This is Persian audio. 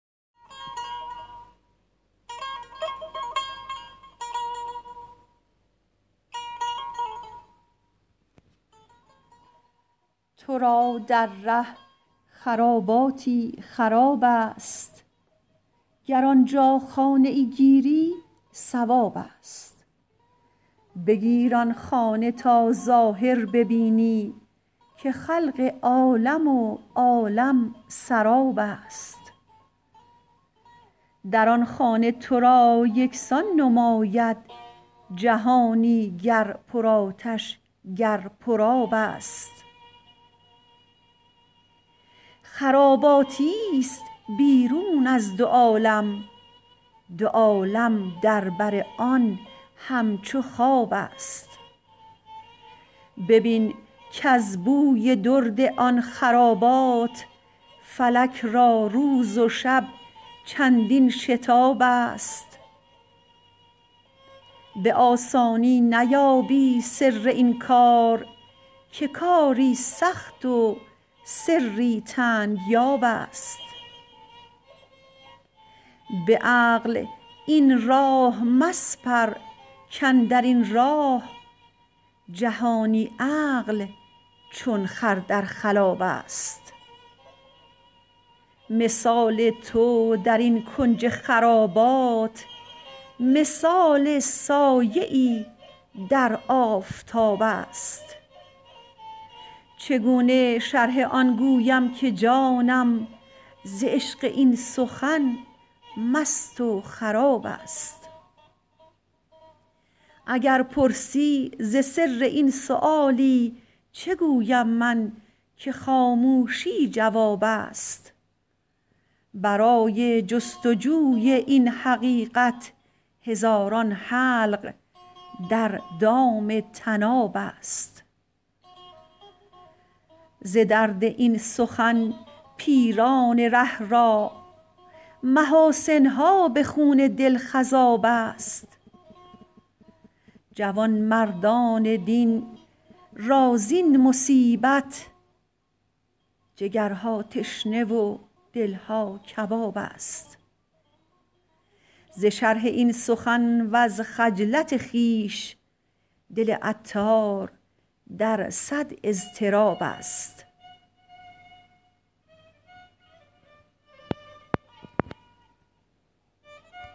تو را در ره خراباتی خراب است گر آنجا خانه ای گیری صواب است بگیر آن خانه تا ظاهر ببینی که خلق عالم و عالم سراب است در آن خانه تو را یکسان نماید جهانی گر پر آتش گر پر آب است خراباتی است بیرون از دو عالم دو عالم در بر آن همچو خواب است ببین کز بوی درد آن خرابات فلک را روز و شب چندین شتاب است به آسانی نیابی سر این کار که کاری سخت و سری تنگ یاب است به عقل این راه مسپر کاندرین راه جهانی عقل چون خر در خلاب است مثال تو درین کنج خرابات مثال سایه ای در آفتاب است چگونه شرح آن گویم که جانم ز عشق این سخن مست و خراب است اگر پرسی ز سر این سؤالی چه گویم من که خاموشی جواب است برای جست و جوی این حقیقت هزاران حلق در دام طناب است ز درد این سخن پیران ره را محاسن ها به خون دل خضاب است جوانمردان دین را زین مصیبت جگرها تشنه و دلها کباب است ز شرح این سخن وز خجلت خویش دل عطار در صد اضطراب است